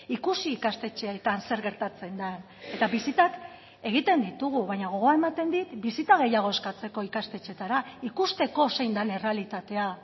ikusi ikastetxeetan zer gertatzen den eta bisitak egiten ditugu baina gogoa ematen dit bisita gehiago eskatzeko ikastetxeetara ikusteko zein den errealitatea